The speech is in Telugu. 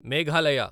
మేఘాలయ